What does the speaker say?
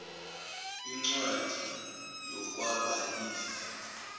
incwadi yokwaba ifa